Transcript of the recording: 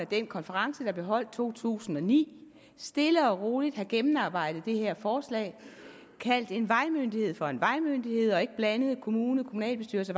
den konference der blev holdt i to tusind og ni stille og roligt have gennemarbejdet det her forslag kaldt en vejmyndighed for en vejmyndighed og ikke blandet kommune kommunalbestyrelse